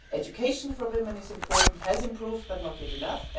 Education for women is important. It has improved but not yet enough.